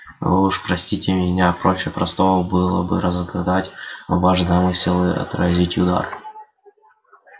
вы уж простите меня проще простого было бы разгадать ваш замысел и отразить удар